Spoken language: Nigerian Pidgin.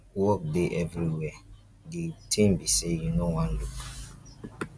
work dey everywhere the thing be say you no wan look.